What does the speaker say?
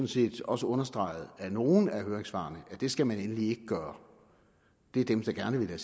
set også understreget af nogle af høringssvarene at det skal man endelig ikke gøre det er dem der gerne vil have